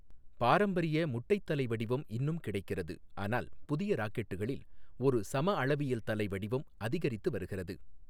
பாரம்பரிய முட்டை தலை வடிவம் இன்னும் கிடைக்கிறது, ஆனால் புதிய ராக்கெட்டுகளில் ஒரு சமஅளவியல் தலை வடிவம் அதிகரித்து வருகிறது.